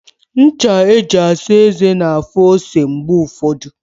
Ncha e ji asa eze na-afụ ose mgbe ụfọdụ.